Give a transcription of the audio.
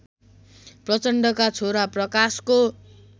प्रचण्डका छोरा प्रकाशको